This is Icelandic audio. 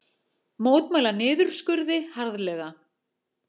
Mótmæla niðurskurði harðlega